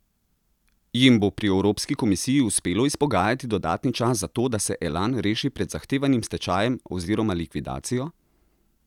Jim bo pri evropski komisiji uspelo izpogajati dodatni čas za to, da se Elan reši pred zahtevanim stečajem oziroma likvidacijo?